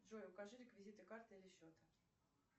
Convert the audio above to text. джой укажи реквизиты карты или счета